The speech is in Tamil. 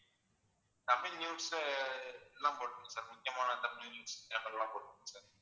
தமிழ் news அஹ் எல்லாம் போட்டுருங்க sir முக்கியமான தமிழ் news channel எல்லாம் போட்டுருங்க sir